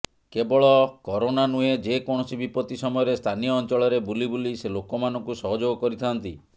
କେବଳ କରୋନା ନୁହେଁ ଯେକୌଣସି ବିପତ୍ତି ସମୟରେ ସ୍ଥାନୀୟ ଅଞ୍ଚଳରେ ବୁଲି ବୁଲି ସେ ଲୋକମାନଙ୍କୁ ସହଯୋଗ କରିଥାଆନ୍ତି